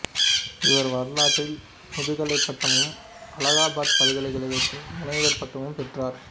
இவர் வரலாற்றில் முதுகலைப் பட்டமும் அலகாபாத் பல்கலைக்கழகத்தில் முனைவர் பட்டமும் பெற்றார்